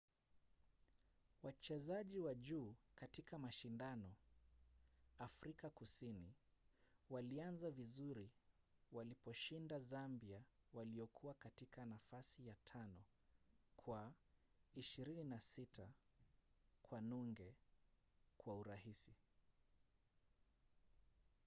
wachezaji wa juu katika mashindano afrika kusini walianza vizuri walipowashinda zambia walio katika nafasi ya 5 kwa 26 - 00 kwa urahisi